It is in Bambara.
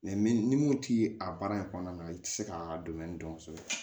ni moti a baara in kɔnɔna na i tɛ se k'a dɔn kosɛbɛ